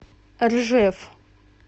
ржев